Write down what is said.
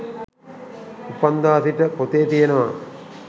උපන්දා සිට පොතේ තියනවා